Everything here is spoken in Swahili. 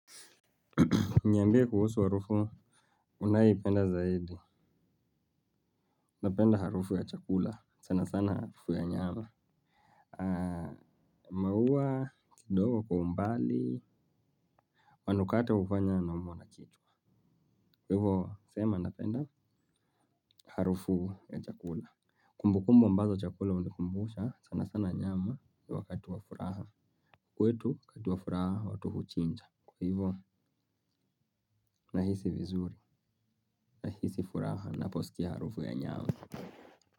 Niambie kuhusu harufu unayoipenda zaidi napenda harufu ya chakula sana sana harufu ya nyama. Maua, kidogo kwa umbali, manukato hufanya naumwa na kichwa. Kwa hivyo, sema napenda harufu ya chakula. Kumbu kumbu ambazo chakula hunikumbusha sana sana nyama wakati wa furaha. Kwetu, wakati wa furaha watu huchinja, kwa hivo, nahisi vizuri, nahisi furaha, naposikia harufu ya nyama.